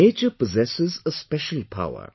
Nature possesses a special power